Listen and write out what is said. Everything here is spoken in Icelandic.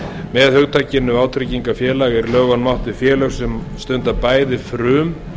með hugtakinu vátryggingafélag er í lögunum átt við félög sem stunda bæði frum